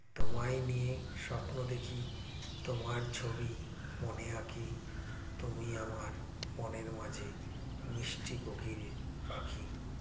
তোমায় নিয়েই স্বপ্ন দেখি তোমার ছবি মনে আঁকি তুমি আমার মনের মাঝে মিষ্টি কোকিল পাখি